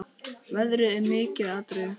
Veðrið er mikið atriði.